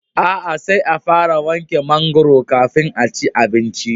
A'a, sai a fara wanke mangwaro kafin a ci abinci